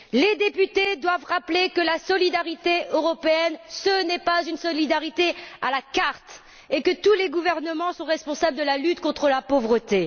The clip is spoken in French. Les députés doivent rappeler que la solidarité européenne, ce n'est pas une solidarité à la carte, et que tous les gouvernements sont responsables de la lutte contre la pauvreté.